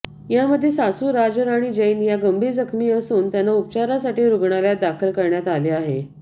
यामध्ये सासु राजराणी जैन या गंभीर जखमी असून त्यांना उपचारासाठी रुग्णालयात दाखल करण्यात आले आहे